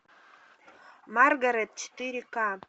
маргарет четыре к